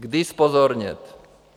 Kdy zpozornět?